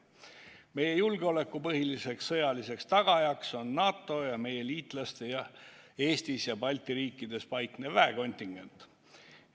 Meie julgeoleku põhiline sõjaline tagaja on NATO, meie liitlaste Eestis ja teistes Balti riikides paiknev väekontingent.